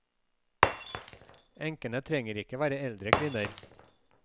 Enkene trenger ikke være eldre kvinner.